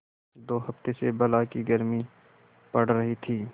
दो हफ्ते से बला की गर्मी पड़ रही थी